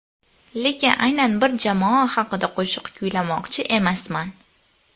Lekin, aynan bir jamoa haqida qo‘shiq kuylamoqchi emasman.